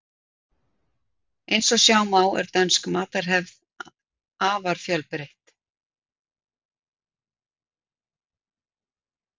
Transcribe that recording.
Eins og sjá má er dönsk matarhefð er afar fjölbreytt.